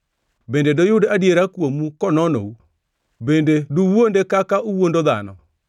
Bende doyud adiera kuomu kononou? Bende duwuonde kaka uwuondo dhano?